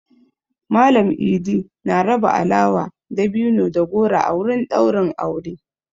Mallam I'di na raba alawa, dabino da goro a wurin ɗaurin aure.